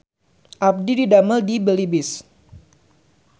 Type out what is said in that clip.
Abdi didamel di Belibis